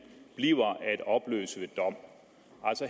bliver at opløse ved dom